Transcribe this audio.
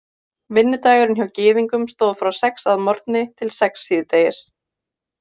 Vinnudagurinn hjá Gyðingum stóð frá sex að morgni til sex síðdegis.